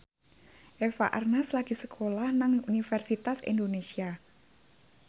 Eva Arnaz lagi sekolah nang Universitas Indonesia